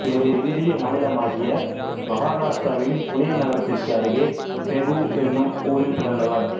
இவர் இந்திய மாநிலமாகிய மகாராஷ்டிராவின் புனே நகரத்திற்கு அருகே தேகு எனும் ஊரில் பிறந்தவர்